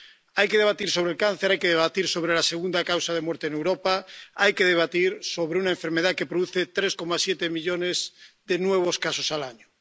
Hay que debatir sobre el cáncer, hay que debatir sobre la segunda causa de muerte en Europa, hay que debatir sobre una enfermedad que produce 3,7 millones de nuevos casos al año.